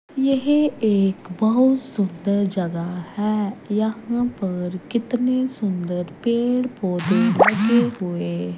यह एक बहुत सुंदर जगह है यहां पर कितने सुंदर पेड़ पौधे लगे हुए--